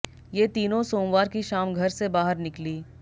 ये तीनों सोमवार की शाम घर से बाहर निकली